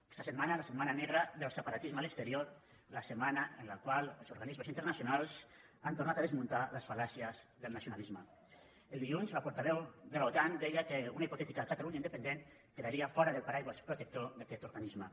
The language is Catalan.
aquesta setmana la setmana negra del separatisme a l’exterior la setmana en la qual els organismes internacionals han tornat a desmuntar les falel dilluns la portaveu de l’otan deia que una hipotètica catalunya independent quedaria fora del paraigua protector d’aquest organisme